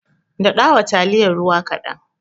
Daɗawa taliyar ruwa kaɗan.